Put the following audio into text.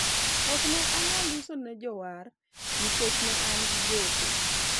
ok ne anyal uso ne jowar nikech ne an gi gope